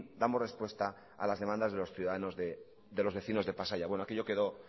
damos respuesta a las demandas de los ciudadanos de los vecinos de pasaia bueno aquello quedo